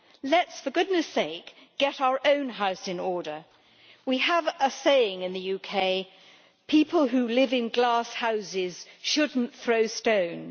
Let us, for goodness sake, get our own house in order. We have a saying in the UK people who live in glass houses should not throw stones.